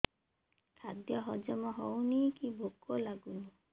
ଖାଦ୍ୟ ହଜମ ହଉନି କି ଭୋକ ଲାଗୁନି